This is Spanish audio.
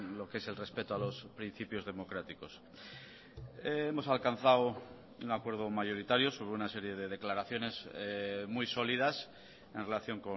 lo qué es el respeto a los principios democráticos hemos alcanzado un acuerdo mayoritario sobre una serie de declaraciones muy sólidas en relación